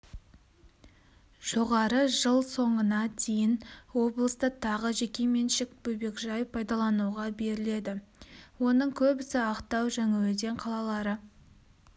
жоғары жыл соңына дейін облыста тағы жекеменшік бөбекжай пайдалануға беріледі оның көбісі ақтау жаңаөзен қалалары